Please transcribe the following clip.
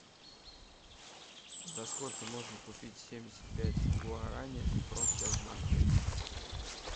за сколько можно купить семьдесят пять гуарани в промсвязьбанке